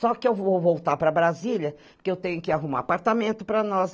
Só que eu vou voltar para Brasília, porque eu tenho que arrumar apartamento para nós.